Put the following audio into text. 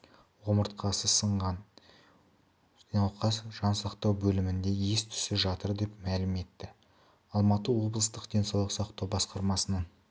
омыртқасы сынған науқас жансақтау бөлімінде ес-түссіз жатыр деп мәлім етті алматы облыстық денсаулық сақтау басқармасының